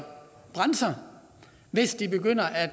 brænde sig hvis de begynder at